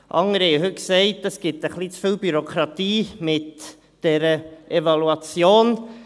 » Andere haben heute gesagt, es gebe ein bisschen zu viel Bürokratie mit dieser Evaluation.